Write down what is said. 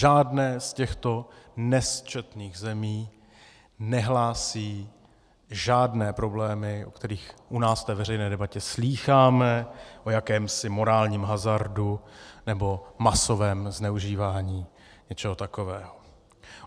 Žádná z těchto nesčetných zemí nehlásí žádné problémy, o kterých u nás v té veřejné debatě slýcháme - o jakémsi morálním hazardu nebo masovém zneužívání něčeho takového.